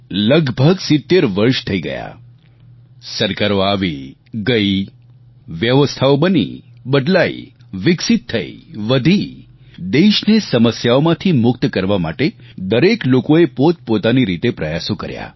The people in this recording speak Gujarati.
લગભગ 70 વર્ષ થઈ ગયા સરકારો આવીગઈ વ્યવસ્થાઓ બની બદલાઈ વિકસીત થઈ વધી દેશને સમસ્યાઓમાંથી મુક્ત કરવા માટે દરેક લોકોએ પોતપોતાની રીતે પ્રયાસો કર્યા